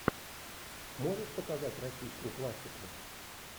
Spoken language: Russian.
можешь показать российскую классику